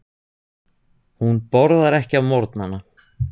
Hún borðar ekki á morgnana.